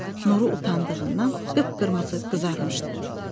Nuru utandığından qıpqırmızı qızarmışdı.